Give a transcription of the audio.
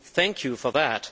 Thank you for that.